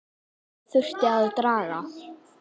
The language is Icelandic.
Það þurfti að draga